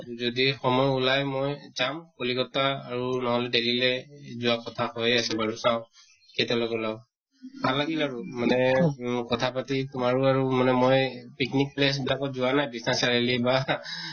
যদি সময় ওলায় মই যাম কলিঅত্তা আৰু নহʼলে delhi লে যোৱা কথা হৈয়ে আছে বাৰু, চাওঁ কেতিয়ালৈকে ওলাও। ভাল লাগিল আৰু মানে ঊম কথা পাতি তোমাৰো আৰু মানে মই picnic place বিলাকত যোৱা নাই বিশ্বনাথ চাৰিআলি বা